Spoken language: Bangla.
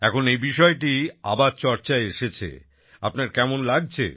এখন এই বিষয়টি আবার চর্চায় এসেছে আপনার কেমন লাগছে